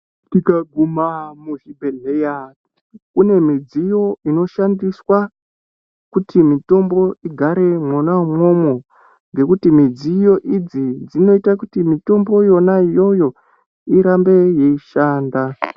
Tikaguma kuzvibhedhleya kune midziyo inoshandiswa kuti mitombo igare mwona umwomwo nekuti midziyo idzi dzinoita kuti mitombo yona iyoyo irambe yeishanda.